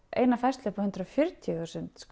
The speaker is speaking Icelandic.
eina færslu upp á hundrað og fjörutíu þúsund